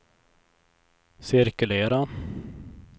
cirkulera